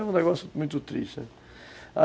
Era um negócio muito triste.